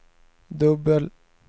dubbel